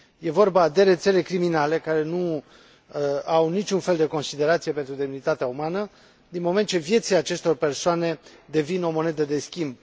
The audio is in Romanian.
E vorba de rețele criminale care nu au niciun fel de considerație pentru demnitatea umană, din moment ce viețile acestor persoane devin o monedă de schimb.